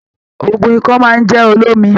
Òògùn ikọ́ máa n jẹ olómi.